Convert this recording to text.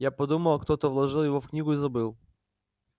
я подумала кто-то вложил его в книгу и забыл